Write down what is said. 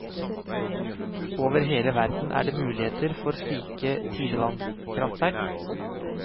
Over hele verden er det muligheter for slike tidevannskraftverk.